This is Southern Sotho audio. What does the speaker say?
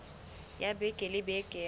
ya beke le beke ya